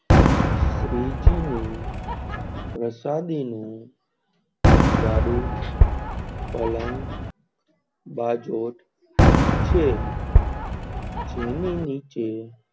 શ્રીજી ની પ્રસાદી નું ગાડું, પાલન, બજોત છે.